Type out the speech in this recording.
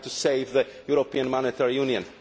trying to save the European monetary union.